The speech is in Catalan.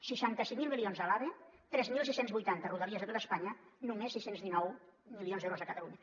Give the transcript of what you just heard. seixanta cinc mil milions a l’ave tres mil sis cents i vuitanta a rodalies a tota espanya només sis cents i dinou milions d’euros a catalunya